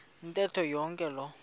ntetho yonke loo